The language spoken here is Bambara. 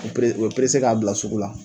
Pere u bɛ k'a bila sugu la.